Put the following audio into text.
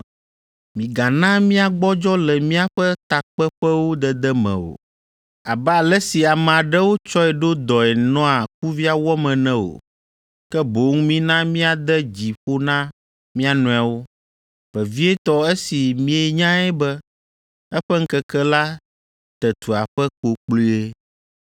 Migana míagbɔdzɔ le míaƒe takpeƒewo dede me o, abe ale si ame aɖewo tsɔe ɖo dɔe nɔa kuvia wɔm ene o, ke boŋ mina míade dzi ƒo na mía nɔewo, vevietɔ esi mienyae be eƒe ŋkeke la te tu aƒe kpokploe.